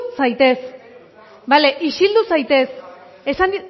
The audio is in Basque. zaitez bale isildu zaitez esan